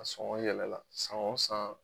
A sɔŋɔ yɛlɛla san o san